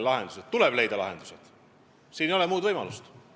Lahendused tuleb leida, siin ei ole muud võimalust.